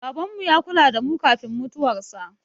Babanmu ya kula da mu kafin mutuwarsa.